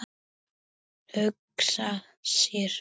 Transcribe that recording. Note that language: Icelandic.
Hugsa sér!